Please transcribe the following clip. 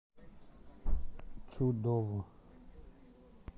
чудово